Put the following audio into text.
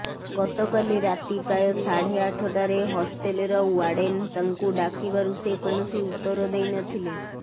ଗତକାଲି ରାତି ପ୍ରାୟ ସାଢ଼େ ଆଠଟାରେ ହଷ୍ଟେଲର ୱାର୍ଡେନ୍ ତାଙ୍କୁ ଡାକିବାରୁ ସେ କୌଣସି ଉତ୍ତର ଦେଇ ନଥିଲେ